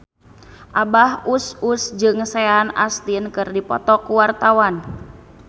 Abah Us Us jeung Sean Astin keur dipoto ku wartawan